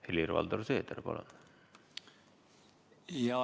Helir-Valdor Seeder, palun!